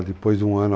Depois de um ano.